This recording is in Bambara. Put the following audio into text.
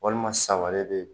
Waliman san wɛrɛ bɛ yen.